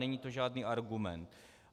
Není to žádný argument.